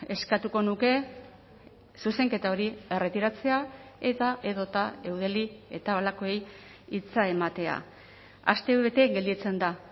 eskatuko nuke zuzenketa hori erretiratzea eta edota eudeli eta holakoei hitza ematea astebete gelditzen da